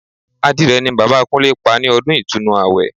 Adìrẹ ni Bàbá Kúnlé pa ní ọdún Ìtúnu àwẹ̀